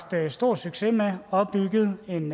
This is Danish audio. stor succes med der er opbygget en